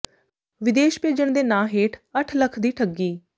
ਵਿਦੇਸ਼ ਭੇਜਣ ਦੇ ਨਾਂ ਹੇਠ ਅੱਠ ਲੱਖ ਦੀ ਠੱਗੀ